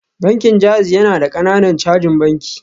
Bankin JAIZ yana da ƙananan cajin banki